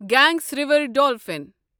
گنگس river dolphin